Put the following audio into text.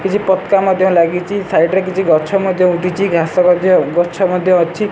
କିଛି ପତକା ମଧ୍ୟ ଲାଗିଚି ସାଇଟ୍ ରେ କିଛି ଗଛ ମଧ୍ୟ ଉଠିଚି ଘାସ ମଧ୍ୟ ଗଛ ମଧ୍ୟ ଅଛି।